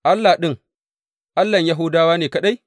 Allah ɗin, Allahn Yahudawa ne kaɗai?